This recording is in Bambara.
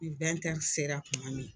Ni sera tuma min